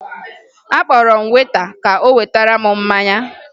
Akpọrọ m weta ka o wetara m mmanya